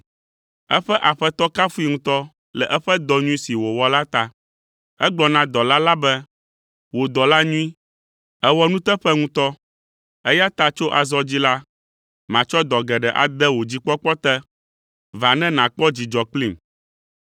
“Eƒe Aƒetɔ kafui ŋutɔ le eƒe dɔ nyui si wòwɔ la ta. Egblɔ na dɔla la be, ‘Wò dɔla nyui, èwɔ nuteƒe ŋutɔ, eya ta tso azɔ dzi la, matsɔ dɔ geɖe ade wò dzikpɔkpɔ te. Va ne nàkpɔ dzidzɔ kplim!’